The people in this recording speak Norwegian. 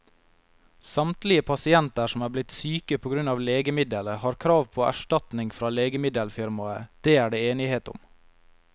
Samtlige pasienter som er blitt syke på grunn av legemiddelet, har krav på erstatning fra legemiddelfirmaet, det er det enighet om.